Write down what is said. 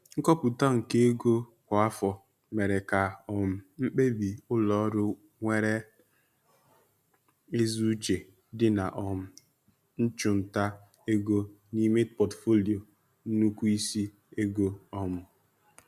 Nkọpụta nke ego kwa afọ mere ka um mkpebi ụlọ ọrụ nwere ezi uche dị na um nchụnta ego n'ime pọtufoliyo nnukwu isi ego. um